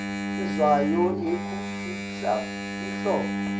indzawo yekufihla inhloko